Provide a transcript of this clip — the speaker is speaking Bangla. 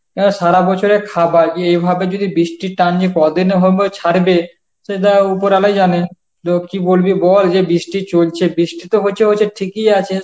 অ্যাঁ সারা বছরের খাবার এভাবে যদি বৃষ্টির টানলে ক'দিন এভাবে ছাড়বে সেটা উপরয়ালাই জানে তো কি বলবি বল যে বৃষ্টি চলছে, বৃষ্টি তো হচ্ছে হচ্ছে ঠিকই আছে